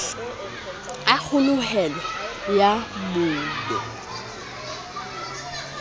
ya kgoholeho ya monu ii